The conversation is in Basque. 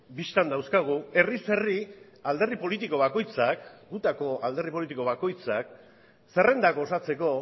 bistan dauzkagu herriz herri alderdi politiko bakoitzak gutako alderdi politiko bakoitzak zerrendak osatzeko